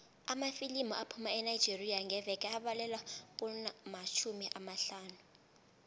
amafilimu aphuma enigeria ngeveke abalelwa kumatjhumi amahlanu